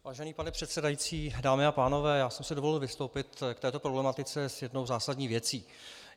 Vážený pane předsedající, dámy a pánové, já jsem si dovolil vystoupit k této problematice s jednou zásadní věcí.